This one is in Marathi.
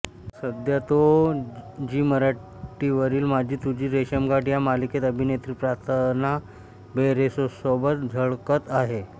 सध्या तो झी मराठीवरील माझी तुझी रेशीमगाठ या मालिकेत अभिनेत्री प्रार्थना बेहेरेसोबत झळकत आहे